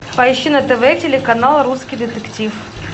поищи на тв телеканал русский детектив